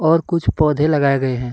और कुछ पौधे लगाए गए हैं।